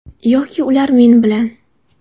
Yoki ular men bilan.